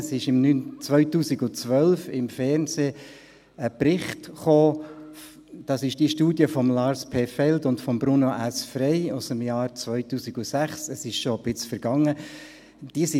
Im Jahr 2012 kam im Fernsehen ein Bericht, es ging um die Studie von Lars P. Feld und Bruno S. Frey aus dem Jahr 2006, es ist schon eine Weile her.